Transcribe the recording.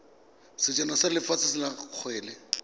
sejana sa lefatshe sa kgwele